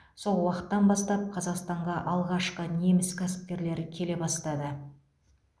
сол уақыттан бастап қазақстанға алғашқы неміс кәсіпкерлері келе бастады